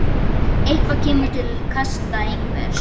Eitthvað kemur til kasta einhvers